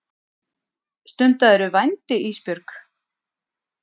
Stundaðirðu vændi Ísbjörg?